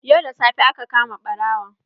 Yau da safe aka kama ɓarawon.